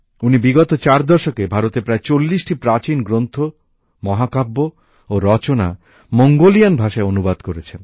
উনি বিগত চার দশকে ভারতের প্রায় চল্লিশটি প্রাচীন গ্রন্থ মহাকাব্য ও রচনা মঙ্গোলিয়ান ভাষায় অনুবাদ করেছেন